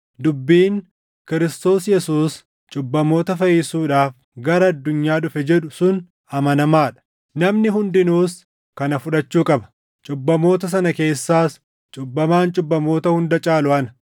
Dubbiin, “Kiristoos Yesuus cubbamoota fayyisuudhaaf gara addunyaa dhufe” jedhu sun amanamaa dha; namni hundinuus kana fudhachuu qaba; cubbamoota sana keessaas cubbamaan cubbamoota hunda caalu ana.